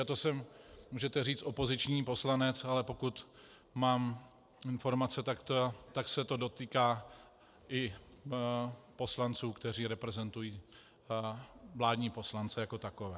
A to jsem, můžete říct, opoziční poslanec, ale pokud mám informace, tak se to dotýká i poslanců, kteří reprezentují vládní poslance jako takové.